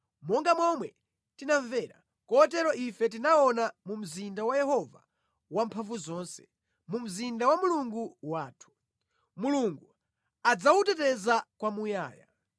Monga momwe tinamvera, kotero ife tinaona mu mzinda wa Yehova Wamphamvuzonse, mu mzinda wa Mulungu wathu. Mulungu adzawuteteza kwamuyaya.